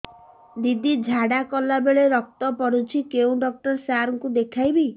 ଦିଦି ଝାଡ଼ା କଲା ବେଳେ ରକ୍ତ ପଡୁଛି କଉଁ ଡକ୍ଟର ସାର କୁ ଦଖାଇବି